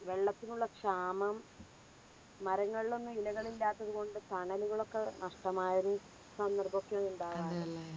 വെള്ളത്തിനുള്ള ക്ഷാമം മരങ്ങളിലൊന്നും ഇലകളില്ലാത്തത് കൊണ്ട് തണലുകളൊക്കെ നഷ്ടമായൊരു സന്ദർഭമൊക്കെ ഉണ്ടാകാർ